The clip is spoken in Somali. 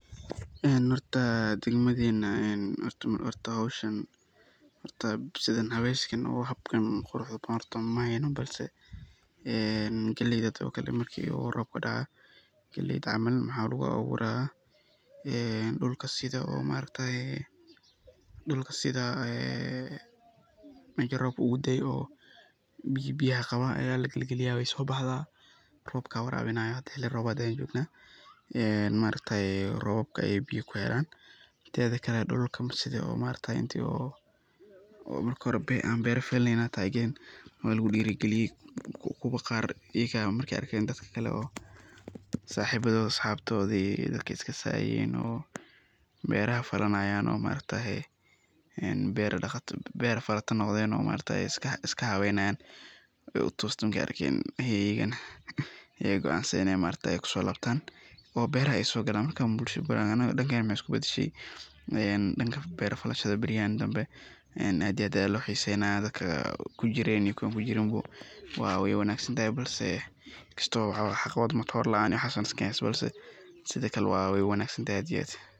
Horta dagamadhena oo wax haweskan quruxda badan maheyno oo galleyda hada oo kale marku robka daco waxa lagu aburaa ,gaar ahaan marka la eego ilaalinta tayada galleyda iyo badbaadada cuntada. Marka hore, galleyda la goosto kadib waxaa loo daayaa in ay si fiican u qalasho si looga hortago caaryada iyo ur xun oo ka dhasha qoyaan. Marka ay si fiican u qalato, waxaa lagu gurtaa balseed ama bacaha caddaanka ah ee xooggan, kuwaas oo aan si sahal ah u jabsan karin. Dadka sida dhaqameed u shaqeeya waxay galleyda ku ridaan galal ama jawaano waaweyn oo ay kor ka xiriiraan si aysan boor, cayayaan ama jiir uga galin, kisto wey wanagsantahay oo sidokale wey wanag santahay aad iyo aad.